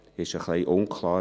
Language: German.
Es ist ein wenig unklar: